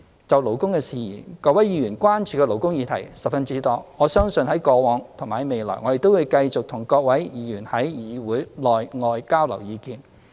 就勞工事宜，各位議員關注的勞工議題十分多，我相信在過往及未來，我們都會繼續與各位議員在議會內外交流意見。